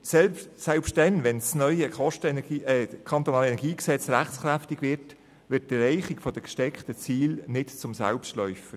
Selbst dann, wenn das neue KEnG rechtskräftig wird, wird die Erreichung der gesteckten Ziele nicht zum Selbstläufer.